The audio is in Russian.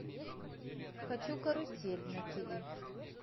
хочу карусель на тв